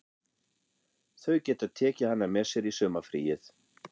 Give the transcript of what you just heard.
Þau geta tekið hana með sér í sumarfríið.